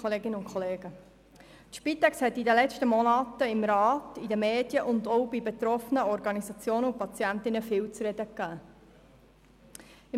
Die Spitex hat in den letzten Monaten im Rat, in den Medien und auch bei den betroffenen Organisationen sowie bei den Patientinnen und Patienten viel zu reden gegeben.